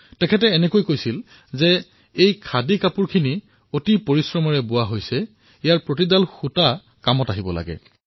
তেওঁ কৈছিল এই খাদীৰ কাপোৰসমূহ পৰিশ্ৰমেৰে নিৰ্মাণ কৰা হৈছে ইয়াৰ এডাল এডাল সুতা কামত আহিব লাগে